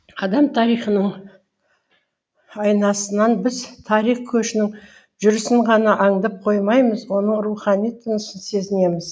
адам тарихының айнасынан біз тарих көшінің жүрісін ғана аңдып қоймаймыз оның рухани тынысын сезінеміз